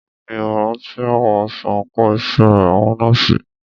Mí ò rántí àwọ̀ aṣọ àńkò iṣẹ́ àwọn nọ́ọ̀sì.